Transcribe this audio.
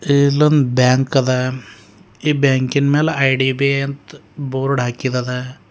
ಇಲ್ಲೊಂದು ಬ್ಯಾಂಕ್ ಅದ ಈ ಬ್ಯಾಂಕಿ ನ ಮೇಲೆ ಐ_ಡಿ_ಬಿ_ಐ ಅಂತ್ ಬೋರ್ಡ್ ಹಾಕಿದದ.